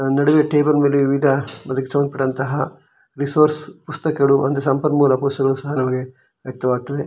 ನಡುವೆ ಟೇಬಲ್ ಮೇಲೆ ವಿವಿಧ ಅದಕ್ಕೆ ಸಂಬಂಧಪಟ್ಟಂತಹ ರಿಸೋರ್ಸ್ ಪುಸ್ತಕಗಳು ಸಂಪನ್ಮೂಲಕ ಪುಸ್ತಕಗಳು ಒಂದು ಸಂಪನ್ ಮೂಲ ಪುಸ್ತಕಗಳು ಸಹ ನಮಗೆ ವ್ಯಕ್ತ ವಾಗ್ತದೆ.